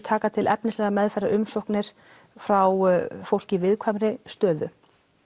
taka til efnislegrar meðferðar umsókir frá fólki í viðkvæmri stöðu